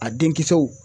A den kisɛw